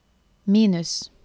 minus